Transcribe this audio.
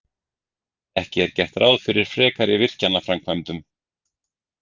Ekki gert ráð fyrir frekari virkjanaframkvæmdum